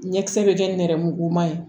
Ɲɛkisɛ bɛ kɛ nɛrɛmuguma ye